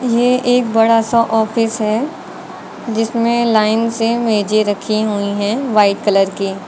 ये एक बड़ा सा आफिस है जिसमें लाइन से मेजे रखी हुई है व्हाइट कलर की।